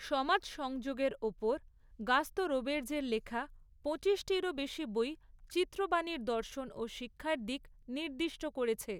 সমাজ সংযোগের ওপর গাস্তঁ রোবের্জের লেখা পঁচিশটিরও বেশি বই চিত্রবাণীর দর্শন ও শিক্ষার দিক নির্দিষ্ট করেছে।